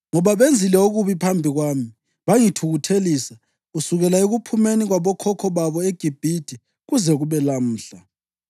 ngoba benzile okubi phambi kwami, bangithukuthelisa, kusukela ekuphumeni kwabokhokho babo eGibhithe kuze kube lamuhla.”